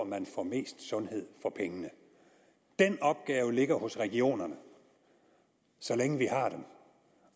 man får mest sundhed for pengene den opgave ligger hos regionerne så længe vi har dem